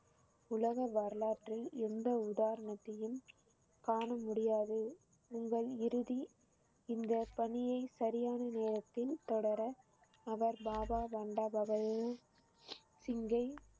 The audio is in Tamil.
உலக வரலாற்றில் எந்த உதாரணத்தையும் காண முடியாது உங்கள் இறுதி இந்த பணியை சரியான நேரத்தில் தொடர அவர் பாபா சிங்கை